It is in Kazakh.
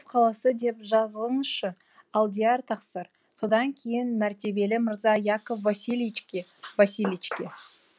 қаласы деп жазыңызшы алдияр тақсыр содан кейін мәртебелі мырза яков васильичке васильичке